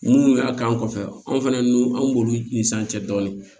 Munnu y'a k'an kɔfɛ an fɛnɛ an b'olu ni san cɛ dɔɔnin